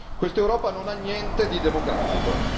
Questa Europa non ha niente di democratico.